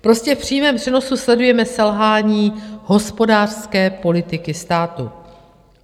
Prostě v přímém přenosu sledujeme selhání hospodářské politiky státu.